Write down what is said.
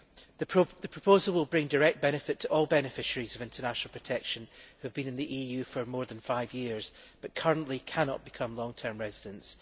The proposal will bring direct benefit to all beneficiaries of international protection who have been in the EU for more than five years but currently cannot become long term residents.